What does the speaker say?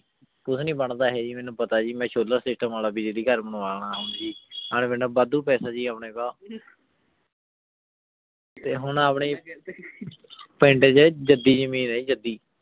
ਕੁਛ ਨਹੀ ਬੰਦਾ ਹੈ ਜੀ ਮੇਨੂ ਪਤਾ ਹੈ ਜੀ ਮੈ ਸ਼ੁਲਾਭ ਸੇਤਮ ਵਾਲਾ ਵੀ ਘਰ ਬਨਵਾਨਾ ਹੈ ਜੀ ਹਰ ਵੇਲਾ ਬਾਦੁ ਪੈਸਾ ਜੀ ਅਪਨੇ ਕੋਲ ਹੁਣ ਅਪਨੇ ਪਿੰਡ ਚ ਜਾਦੀ ਜਮੀਨ ਆਯ ਜੀ ਜਾਦੀ